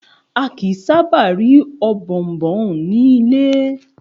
A kìí sábà ri Ọ̀bọ̀ọ̀nbọọ̀n ni ilé.